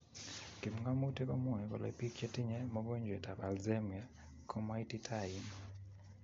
Kipngamutik komwae kolee biik che tinyee mogonjweet ab alzhemier ko maititain